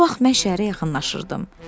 Və bu vaxt mən şəhərə yaxınlaşırdım.